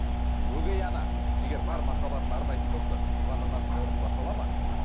өгей ана егер бар махаббатын арнайтын болса туған анасының орнын баса ала ма